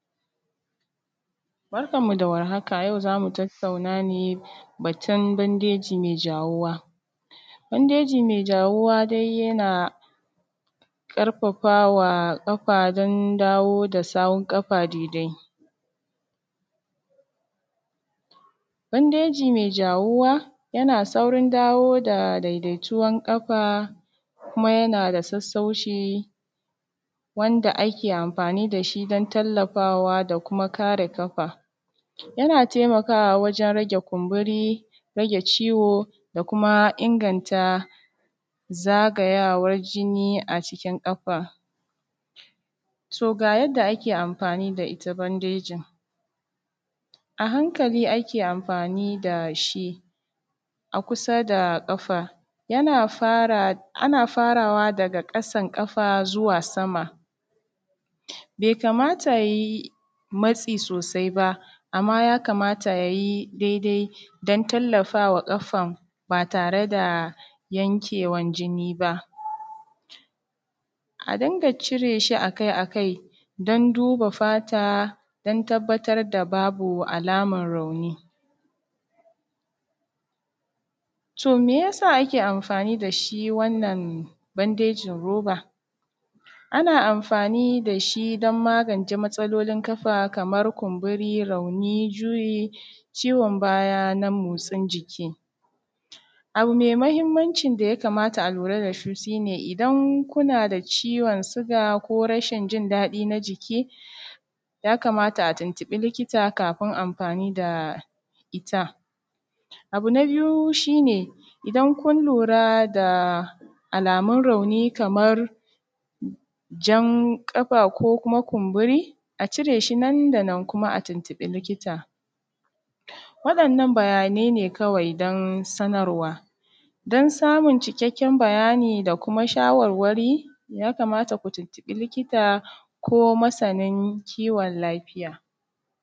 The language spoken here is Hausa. Barkanmu da war haka, yau zamu tattauna ne batun bandeji mai jawuwa, bandeji mai jawuwa yana karfafawa kafa dan dawo da sahun kada daidai, bandeji mai jawuwa yana saurin dawo da daidaituwan kafa kuma yana da sassauci wanda ake amfani da shi don tallafawa da kuma kare kafa, yana taimakawa wajen rage kumburi rage ciwo da kuma inganta zagayawan jinni a cikin kafa, to ga yadda ake amfani da ita bandejin a hankali ake amfani da shi a kusa da kafa yana fara ana faraway daga kasan kafa zuwa sama bai kamata ayi matsi sosai ba amma ya kamata ayi daidai don tallafa wa kafan ba tare da yakewan jinni ba, a dunka cire shi akai-akai don duba fata don tabbatar da babu alamar rauni, to me yasa ake amfani da shi wannan bandejin roba ana amfani da shi don magance matsalolin kafa kamar kumburi, rauni, juyi, ciwon baya na motsin jiki, abu mai muhimmanci da ya kamata a lura da shi shi ne idan kuna da ciwon suga ko rashin jin dadi na jiki ya kamata a tuntubi likita kafin amfani da ita, abu na biyu shi ne idan kun lura da alamun rauni kamar zan kafa ko kuma kumburi a cire shi nan da nan kuma a tuntubi likita, waɗannan bayanai ne kawai don sanarwa don samun cikakken bayani da kuma shawarwari ya kamata ku tuntubi likita ko masanin kiwon lafiya.